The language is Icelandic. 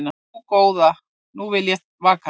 Ó, góða nú vil ég vaka